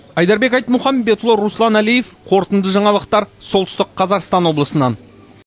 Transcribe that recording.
айдарбек айтмұхамбетұлы руслан әлиев қорытынды жаңалықтар солтүстік қазақстан облысынан